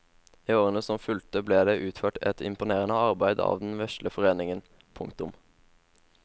I årene som fulgte ble det utført et imponerende arbeid av den vesle foreningen. punktum